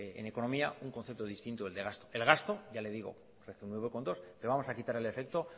en economía un concepto distinto que del gasto el gasto ya le digo que es el nueve coma dos por ciento le vamos a quitar el efecto